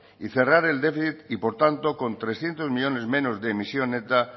y cerrar el déficit y por tanto con trescientos millónes menos de emisión alta